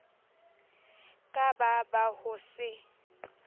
ka ba ba ho se